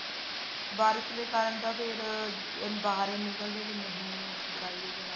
ਬਾਰਿਸ਼ ਦੇ ਕਾਰਨ ਤਾਂ ਫੇਰ ਬਾਹਰ ਹੀ ਨੀ ਨਿਕਲਦੇ ਵੀ ਅਸੀਂ ਬਾਹਰ ਜਾਈਏ ਜਾਂ ਨਹੀਂ ਜਾਈਏ ਜਾਂ ਨਾ